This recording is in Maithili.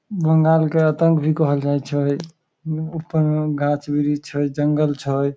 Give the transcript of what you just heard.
बंगाल के आतंक भी कहल जाए छै उम्म ऊपर में गाछ वृक्ष छै जंगल छै।